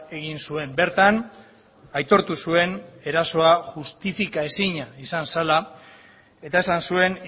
egin zuen bertan aitortu zuen erasoa justifikaezina izan zela eta esan zuen